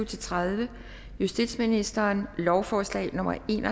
tredive justitsministeren lovforslag nummer l en